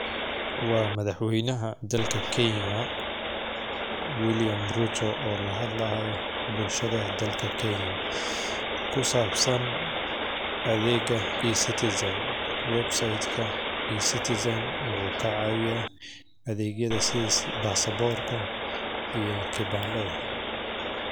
Waa madax weynaha dalka kenya oo lahadli haayo bulshada dadka kenya oo ku sabsan adeega ecitizan oo kacawiya sharciga.